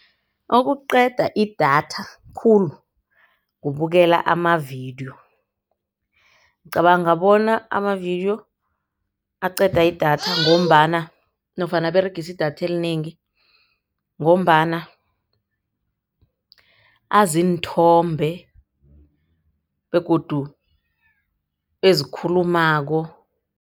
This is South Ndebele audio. Okuqeda idatha khulu kubukela amavidiyo, ngicabanga bona amavidiyo aqeda idatha ngombana nofana aberegisa idatha elinengi ngombana aziinthombe begodu ezikhulumako.